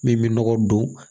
Min bɛ nɔgɔ don